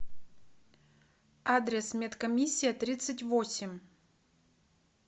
адрес медкомиссия тридцать восемь